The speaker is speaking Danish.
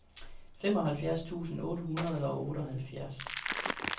femoghalvfjerds tusind otte hundrede og otteoghalvfjerds